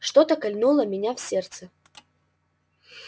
что-то кольнуло меня в сердце